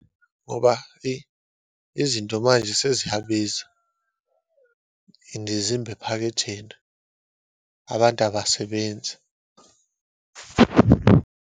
Ngoba, eyi izinto manje seziyabiza and zimba ephaketheni. Abantu abasebenzi.